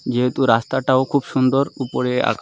যেহেতু রাস্তাটাও খুব সুন্দর উপরে আকা--